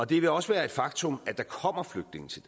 det vil også være et faktum at der kommer flygtninge til